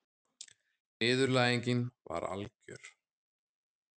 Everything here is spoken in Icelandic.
Niðurlægingin var algjör.